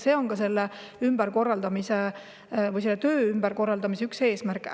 See on ka selle töö ümberkorraldamise üks eesmärke.